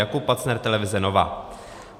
Jakub Pacner, televize NOVA.